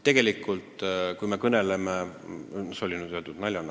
See oli nüüd öeldud naljana.